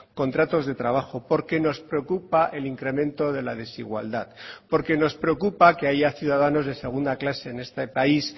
contratos de trabajo porque nos preocupa el incremento de la desigualdad porque nos preocupa que haya ciudadanos de segunda clase en este país